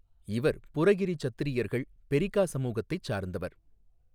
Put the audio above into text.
இவர் புரகிாி சத்திரியர்கள் பொிகா சமூகத்தைச் சாா்ந்தவா்.